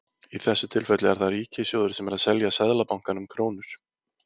Í þessu tilfelli er það ríkissjóður sem er að selja Seðlabankanum krónur.